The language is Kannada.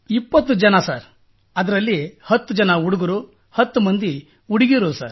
20 ಜನರು ಸರ್ ಅದರಲ್ಲಿ 10 ಜನ ಹುಡುಗರು ಹತ್ತು ಮಂದಿ ಹುಡುಗಿಯರು ಸರ್